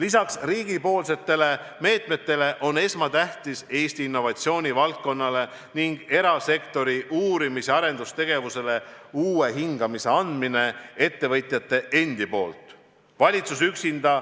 Peale riigi meetmete on esmatähtis, et Eesti innovatsioonivaldkonnale ning erasektori uurimis- ja arendustegevusele annaksid uue hingamise ettevõtjad ise.